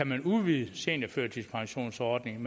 man kunne udvide seniorførtidspensionsordningen